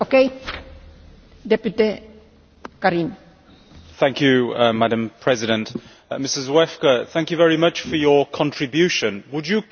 Mr Zwiefka, thank you very much for your contribution. Would you kindly just provide some further details as far as the right of panorama is concerned?